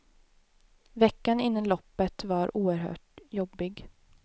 Veckan innan loppet var oerhört jobbig.